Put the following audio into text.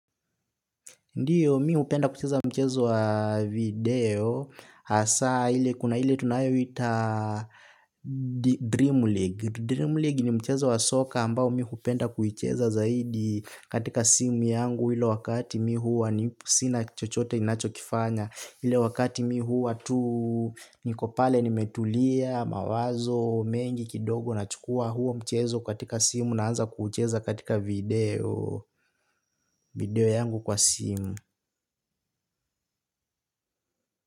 Ndio mi hupenda kucheza mchezo wa video hasa ile kuna ile tunayoita Dream League. Dream League ni mchezo wa soka ambao mi hupenda kuicheza zaidi katika simu yangu yule wakati mi huwa ni sina chochote ninachokifanya. Ile wakati mi huwa tu niko pale nimetulia mawazo mengi kidogo nachukua huo mchezo katika simu naanza kuucheza katika video. Video yangu kwa simu.